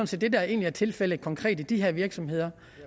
set det der egentlig er tilfældet konkret i de her virksomheder